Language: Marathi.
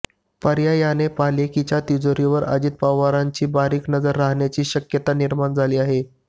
पर्यायाने पालिकेच्या तिजोरीवर अजित पवारांची बारीक नजर राहण्याची शक्यता निर्माण झाली आहे